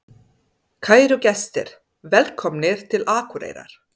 Kæru gestir! Velkomnir til Akureyrar.